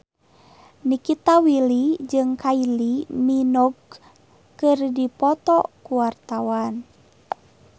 Nikita Willy jeung Kylie Minogue keur dipoto ku wartawan